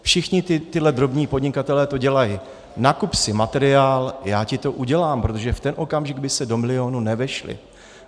Všichni tihle drobní podnikatelé to dělají: nakup si materiál, já ti to udělám, protože v ten okamžik by se do milionu nevešli.